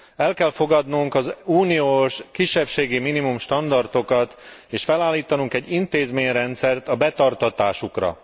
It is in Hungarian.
El kell fogadnunk az uniós kisebbségi minimum standardokat és felállítanunk egy intézményrendszert a betartatásukra.